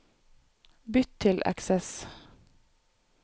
Bytt til Access